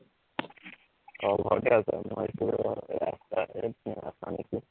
অ ঘৰতে আছা মই ভাৱিছো ৰাস্তাতে আহা নিকি